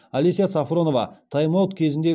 алеся сафронова тайм аут кезінде